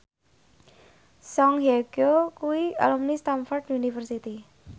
Song Hye Kyo kuwi alumni Stamford University